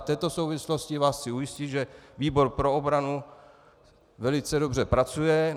V této souvislosti vás chci ujistit, že výbor pro obranu velice dobře pracuje.